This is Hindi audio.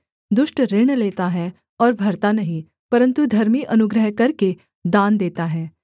दुष्ट ऋण लेता है और भरता नहीं परन्तु धर्मी अनुग्रह करके दान देता है